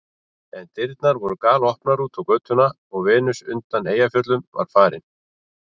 En dyrnar voru galopnar út á götuna og Venus undan Eyjafjöllum var farin.